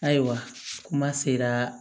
Ayiwa kuma sera